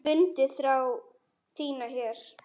Fundið þrá þína hér.